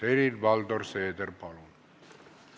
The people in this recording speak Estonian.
Helir-Valdor Seeder, palun!